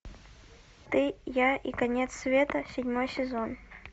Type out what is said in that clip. ты я и конец света седьмой сезон